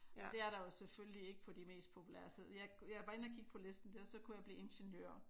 Og det er der jo selvfølgelig ikke på de mest populære så jeg var inde at kigge på listen der så kunne jeg blive ingeniør